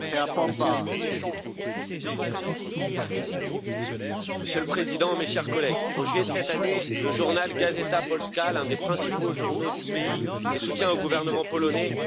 Monsieur le Président, mes chers collègues, en juillet de cette année, le journal l'un des principaux journaux du pays et soutien au gouvernement polonais actuel, distribuait des autocollants zone libre de LGBTI.